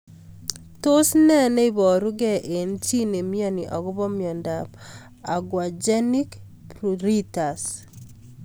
Tos nee neiparukei eng' chii neimianyi akopo miondop aquagenic pruritus